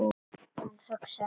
Hann hugsaði málið.